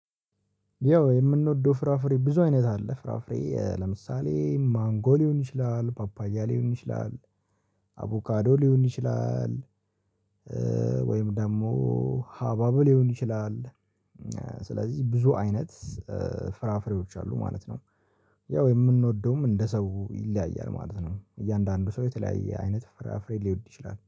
ያው የምንወደው ፍራፍሬ ብዙ አይነት አለ ፍራፍሬ ኧ ለምሳሌ ማንጎ ሊሆን ይችላል ፓፓያ ሊሆን ይችላል አቮካዶ ሊሆን ይችላል። ወይም ደግሞ ሀባብ ሊሆን ይችላል። ስለዚህ ብዙ አይነት ፍራፍሬዎች አሉ ማለት ነው። ያው የምንወደውም እንደ ሰው ይለያያል ማለት ነው። እያንዳንዱ ሰው የተለያየ አይነት ፍራፍሬ ሊወድ ይችላል